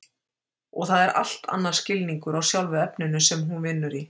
Og það er allt annar skilningur á sjálfu efninu sem hún vinnur í.